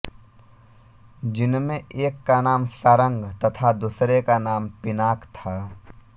जिनमें एक का नाम शारंग तथा दूसरे का नाम पिनाक था